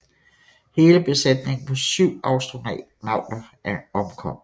Hele besætningen på 7 astronauter omkom